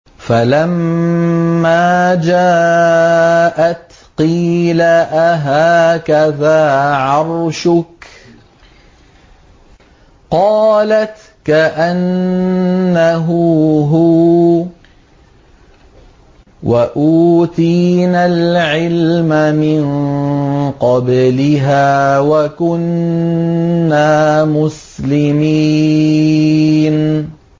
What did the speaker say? فَلَمَّا جَاءَتْ قِيلَ أَهَٰكَذَا عَرْشُكِ ۖ قَالَتْ كَأَنَّهُ هُوَ ۚ وَأُوتِينَا الْعِلْمَ مِن قَبْلِهَا وَكُنَّا مُسْلِمِينَ